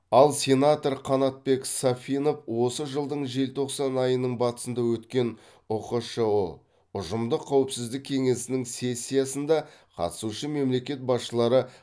ал сенатор қанатбек сафинов осы жылдың желтоқсан айының батысында өткен ұқшұ ұжымдық қауіпсіздік кеңесінің сессиясында қатысушы мемлекет басшылары